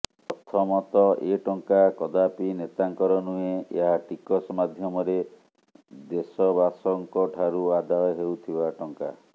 ପ୍ରଥମତଃ ଏ ଟଙ୍କା କଦାପି ନେତାଙ୍କର ନୁହେଁ ଏହା ଟିକସ ମାଧୢମରେ ଦେଶବାସଙ୍କ ଠାରୁ ଆଦାୟ ହେଉଥିବା ଟଙ୍କା